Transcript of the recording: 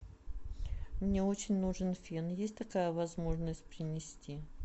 мне очень нужен фен есть такая возможность принести